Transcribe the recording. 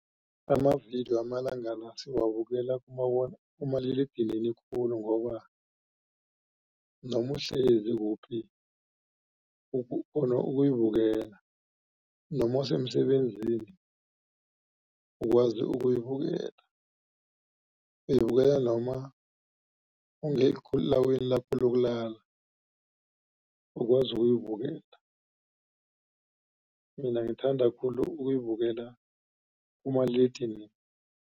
Amavidiyo amalanga la siwabukela kumaliledinini khulu ngoba noma uhlezi kuphi ukghona ukuyibukela noma usemsebenzini ukwazi ukuyibukela. Uyibukela noma ungelawini lakho lokulala ukwazi ukuyibukela mina ngithanda khulu ukuyibukela